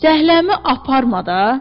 Zəhləmi aparma da.